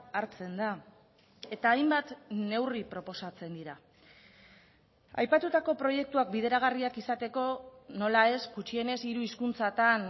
hartzen da eta hainbat neurri proposatzen dira aipatutako proiektuak bideragarriak izateko nola ez gutxienez hiru hizkuntzatan